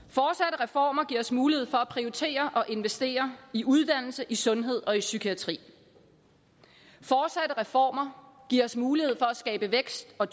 reformer giver os mulighed for at prioritere og investere i uddannelse i sundhed og i psykiatri fortsatte reformer giver os mulighed for at skabe vækst og